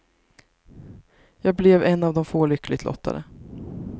Jag blev en av de få lyckligt lottade.